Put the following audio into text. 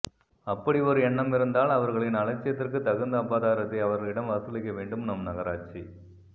அப்படியொரு எண்ணமிருந்தால் அவர்களின்அலட்சியத்திற்கு தகுந்த அபதாரத்தை அவர்களிடம் வசூலிக்க வேண்டும் நம் நகராட்சி